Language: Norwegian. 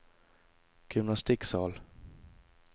gymnastikksal